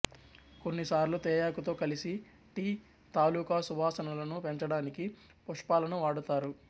కొన్ని సార్లు తేయాకుతో కలిసి టీ తాలుకా సువాసనలను పెంచడానికి పుష్పాలను వాడతారు